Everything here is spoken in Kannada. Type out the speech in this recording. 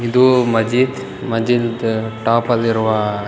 ಇದು ಮಜ್ಜಿದ ಮಸ್ಜಿದ್ ಟಾಪ್ ಅಲ್ಲಿರುವ --